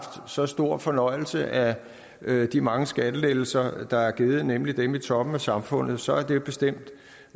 så stor fornøjelse af de mange skattelettelser der er givet nemlig dem i toppen af samfundet så er det bestemt